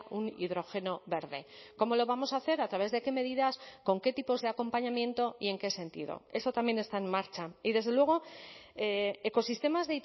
un hidrógeno verde cómo lo vamos a hacer a través de qué medidas con qué tipos de acompañamiento y en qué sentido eso también está en marcha y desde luego ecosistemas